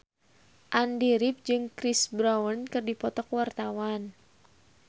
Andy rif jeung Chris Brown keur dipoto ku wartawan